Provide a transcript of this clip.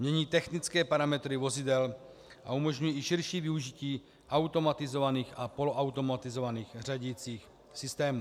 Mění technické parametry vozidel a umožňují i širší využití automatizovaných a poloautomatizovaných řadicích systémů.